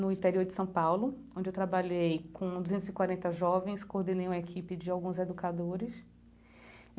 no interior de São Paulo, onde eu trabalhei com duzentos e quarenta jovens, coordenei uma equipe de alguns educadores.